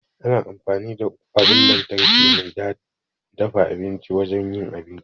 Ana amfani da abun lantarki mai dafa abinci wajen yin abinci.